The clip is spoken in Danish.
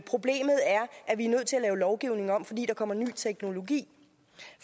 lave lovgivningen om fordi der kommer ny teknologi